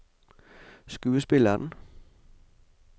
skuespilleren